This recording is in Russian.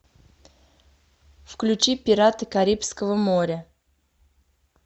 включи пираты карибского моря